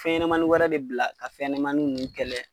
Fɛnɲɛnamani wɛrɛ de bila ka fɛnɛmani nun kɛlɛ